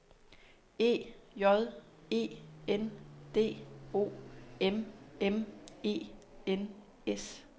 E J E N D O M M E N S